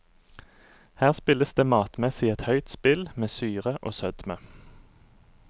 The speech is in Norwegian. Her spilles det matmessig et høyt spill med syre og sødme.